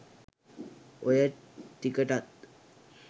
ඔය ටිකටත්